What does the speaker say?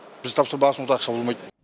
біз тапсырмаған соң онда ақша болмайды